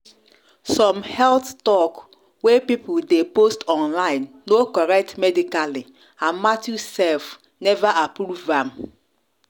some health talk wey people dey post online no correct medically and matthew self never approve am